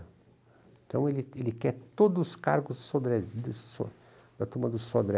Então ele ele quer todos os cargos sodré so da turma do Sodré.